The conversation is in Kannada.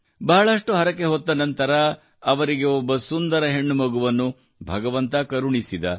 ಬಹಳಷ್ಟು ಹರಕೆ ಹೊತ್ತ ನಂತರ ಅವರಿಗೆ ಒಬ್ಬ ಸುಂದರ ಹೆಣ್ಣುಮಗುವನ್ನು ಭಗವಂತ ಕರುಣಿಸಿದ